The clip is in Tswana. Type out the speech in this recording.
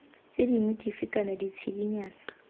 tse dingwe dife kana ditshedinyana